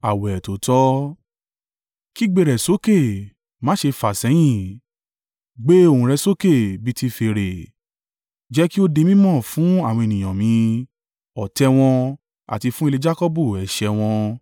“Kígbe rẹ̀ sókè, má ṣe fàsẹ́yìn. Gbé ohùn rẹ sókè bí i ti fèrè. Jẹ́ kí ó di mí mọ̀ fún àwọn ènìyàn mi, ọ̀tẹ̀ wọn, àti fún ilé Jakọbu ẹ̀ṣẹ̀ wọn.